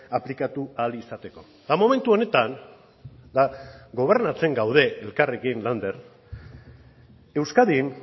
aplikatu ahal izateko eta momentu honetan eta gobernatzen gaude elkarrekin lander euskadin